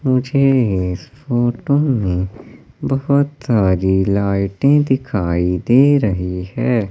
मुझे इस फोटो में बहुत सारी लाइटें दिखाई दे रही है।